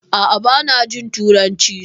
A'a bana jin turanci